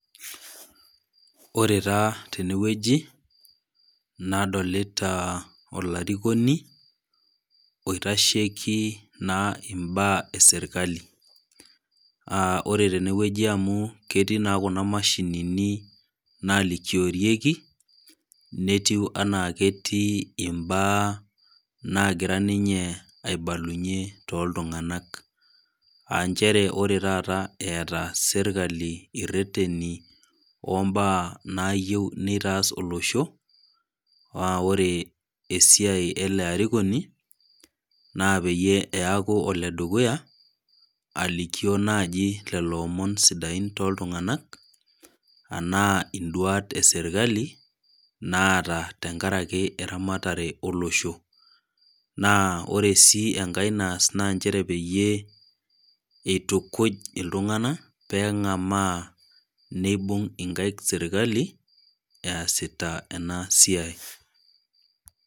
Ore taa tenewueji, nadolita olarikoni, oitasheiki naa imbaa e serkali, aa ore tenewueji amu ketii naa kuna mashinini naalikiorieki, netiu anaa ketii imbaa naagira ninye aibalunye tooltung'anak, aa nchere ore taata eata serkali ireteni oombaa nayieu neitaas olosho, naa ore esiai ele arikoni, naa peyie eaku oledukuya, alikio naaji lelo omon idain tooltung'anak, anaa induat e serkali, naata tenkaraki eramatare olosho, naa ore sii enkai naas naa peyie eitukuj iltung'anak pee eng'amaa neibung' inkaik serkali easita ena siai.